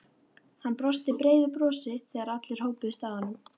Hann brosti breiðu brosi þegar allir hópuðust að honum.